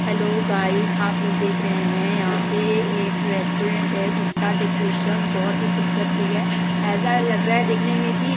Hello guys आप लोग़ देख रहे हैं। यहां पर एक रेस्टोरेंट है। जिसका डेकोरेशन बहुत ही खूबसूरत किया गया है ऐसा लग रहा है देखने मे की --